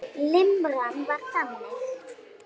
Limran var þannig: